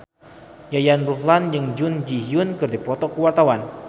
Yayan Ruhlan jeung Jun Ji Hyun keur dipoto ku wartawan